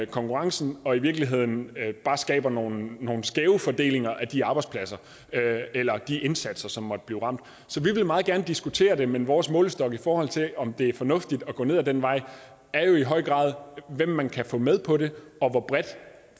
konkurrencen og i virkeligheden bare skaber nogle nogle skæve fordelinger af de arbejdspladser eller de indsatser som måtte blive ramt så vi vil meget gerne diskutere det men vores målestok i forhold til om det er fornuftigt at gå ned ad den vej er jo i høj grad hvem man kan få med på det og hvor bredt